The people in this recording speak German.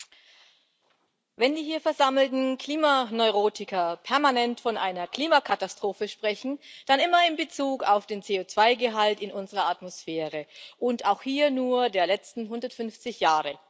Frau Präsidentin! Wenn die hier versammelten Klimaneurotiker permanent von einer Klimakatastrophe sprechen, dann immer in Bezug auf den CO2-Gehalt in unserer Atmosphäre, und auch hier nur der letzten 150 Jahre.